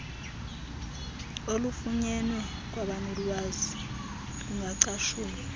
olufunyenwe kwabanolwazi lungacatshulwa